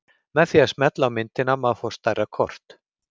Með því að smella á myndina má fá stærra kort.